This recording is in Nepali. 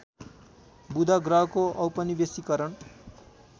बुध ग्रहको औपनिवेशीकरण